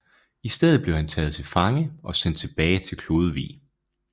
I stedet blev han taget til fange og sendt tilbage til Klodevig